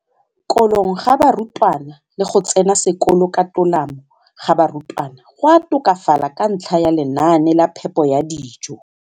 Kolong ga barutwana le go tsena sekolo ka tolamo ga barutwana go a tokafala ka ntlha ya lenaane la phepo ya dijo.